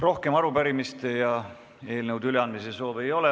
Rohkem arupärimiste ja eelnõude üleandmise soove ei ole.